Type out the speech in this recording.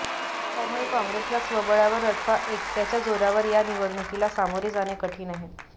त्यामुळे काँग्रेसला स्वबळावर अथवा एकटयाच्या जोरावर या निवडणूकीला सामोरे जाणे कठीण आहे